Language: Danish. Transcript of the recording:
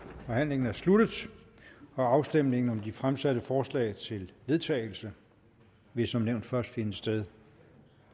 forhandlingen er sluttet afstemningen om de fremsatte forslag til vedtagelse vil som nævnt først finde sted